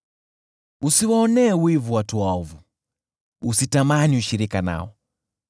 Usiwaonee wivu watu waovu, usitamani ushirika nao;